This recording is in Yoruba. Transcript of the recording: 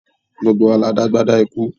Gbogbo wa la dá agbádá ikú